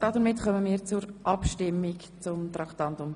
Damit kommen wir zur Abstimmung zu Traktandum 54.